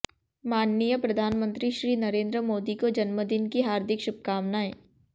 माननीय प्रधानमंत्री श्री नरेन्द्र मोदी को जन्मदिन की हार्दिक शुभकामनाएं